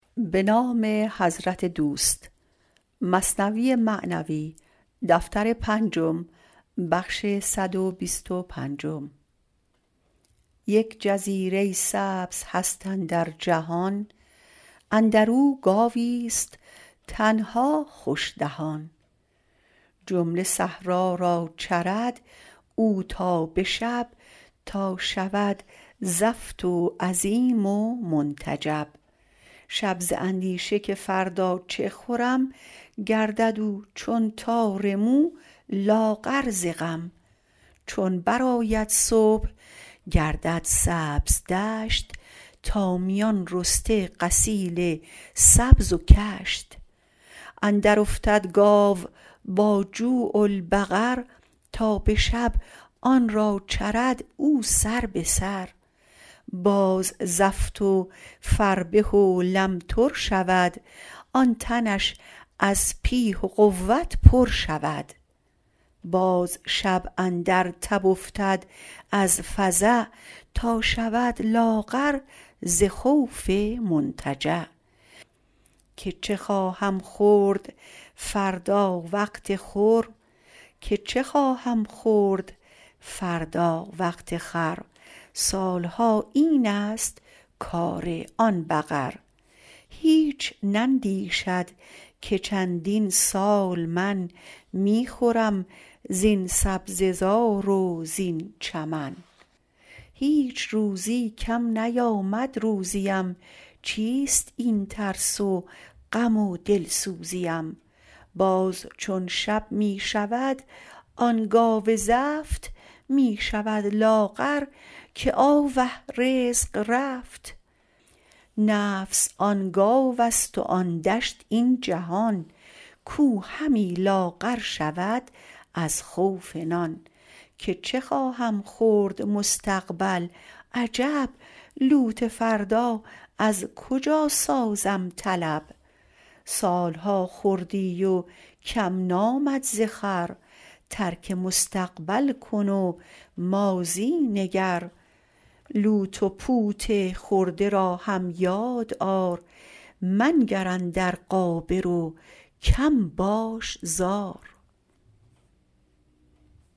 یک جزیره سبز هست اندر جهان اندرو گاویست تنها خوش دهان جمله صحرا را چرد او تا به شب تا شود زفت و عظیم و منتجب شب ز اندیشه که فردا چه خورم گردد او چون تار مو لاغر ز غم چون برآید صبح گردد سبز دشت تا میان رسته قصیل سبز و کشت اندر افتد گاو با جوع البقر تا به شب آن را چرد او سر به سر باز زفت و فربه و لمتر شود آن تنش از پیه و قوت پر شود باز شب اندر تب افتد از فزع تا شود لاغر ز خوف منتجع که چه خواهم خورد فردا وقت خور سالها اینست کار آن بقر هیچ نندیشد که چندین سال من می خورم زین سبزه زار و زین چمن هیچ روزی کم نیامد روزیم چیست این ترس و غم و دلسوزیم باز چون شب می شود آن گاو زفت می شود لاغر که آوه رزق رفت نفس آن گاوست و آن دشت این جهان کاو همی لاغر شود از خوف نان که چه خواهم خورد مستقبل عجب لوت فردا از کجا سازم طلب سالها خوردی و کم نامد ز خور ترک مستقبل کن و ماضی نگر لوت و پوت خورده را هم یاد آر منگر اندر غابر و کم باش زار